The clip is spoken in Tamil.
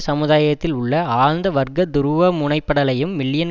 சமுதாயத்தில் உள்ள ஆழ்ந்த வர்க்க துருவமுனைப்படலையும் மில்லியன்